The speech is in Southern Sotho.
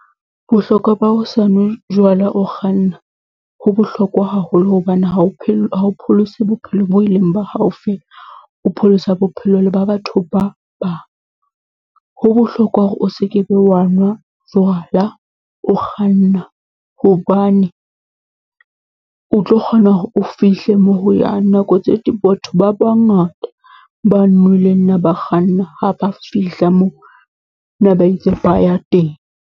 Bohlokwa ba ho sa nwe jwala o kganna, ho bohlokwa haholo hobane ha o ha o pholose bophelo bo e leng ba hao fela, o pholosa bophelo le ba batho ba bang. Ho bohlokwa hore o seke be wa nwa jwala o kganna, hobane o tlo kgona hore o fihle moo ho yang nako tse , batho ba bangata, ba nweleng ne ba kganna ha ba fihla moo, ne ba itse ba ya teng.